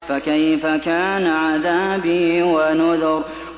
فَكَيْفَ كَانَ عَذَابِي وَنُذُرِ